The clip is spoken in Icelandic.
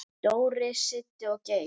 Dóri, Siddi og Geir.